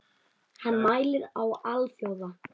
Hann mælir á alþjóða